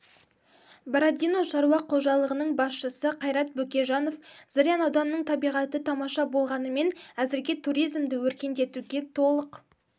бородино шаруа қожалығының басшысы қайрат бөкежанов зырян ауданының табиғаты тамаша болғанымен әзірге туризмді өркендетуге толық